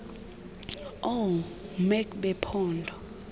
oo mec bephondo